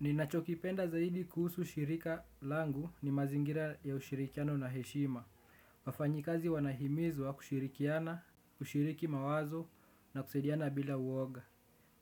Ninachokipenda zaidi kuhusu shirika langu ni mazingira ya ushirikiano na heshima. Wafanyikazi wanahimizwa kushirikiana, kushiriki mawazo na kusaidiana bila uoga.